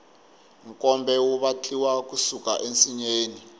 nkombe wu vatliwa ku suka ensinyeni